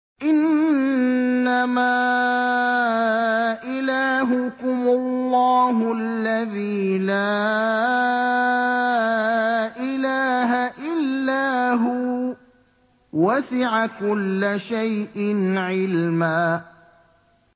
إِنَّمَا إِلَٰهُكُمُ اللَّهُ الَّذِي لَا إِلَٰهَ إِلَّا هُوَ ۚ وَسِعَ كُلَّ شَيْءٍ عِلْمًا